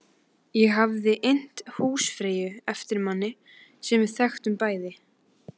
Ég hafði innt húsfreyju eftir manni sem við þekktum bæði.